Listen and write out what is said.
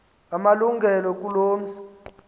amalungelo kuloo mzi